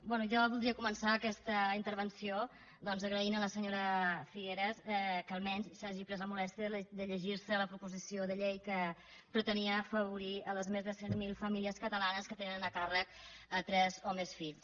bé jo vol·dria començar aquesta intervenció doncs agraint a la senyora figueras que almenys s’hagi pres la molèstia de llegir·se la proposició de llei que pretenia afavorir les més de cent mil famílies catalanes que tenen a càr·rec tres o més fills